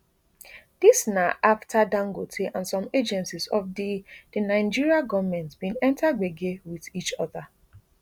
dis na aftadangote and some agencies of di di nigeria gomentbin enta gbege wit each oda